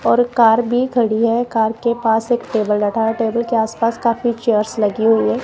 और कार भी खड़ी है कार के पास एक टेबल रखा है टेबल के आसपास काफी चेयर्स लगी हुई है।